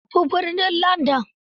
Ya tafi birnin Landan.